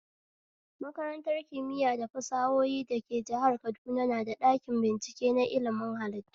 Makarantar kimiya da fasahohi da ke jihar kaduna na da ɗakin bincike na ilmin hallitu